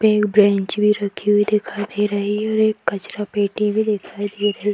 एक बैंच भी रखी हुई दिखाई दे रही है और एक कचड़ा पेटी भी ।